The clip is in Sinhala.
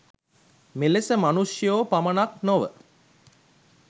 මෙලෙස මනුෂ්‍යයෝ පමණක් නොව